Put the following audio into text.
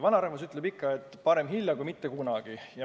Vanarahvas on ikka öelnud, et parem hilja kui mitte kunagi.